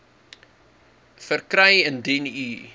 verkry indien u